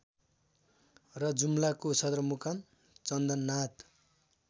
र जुम्लाको सदरमुकाम चन्दननाथ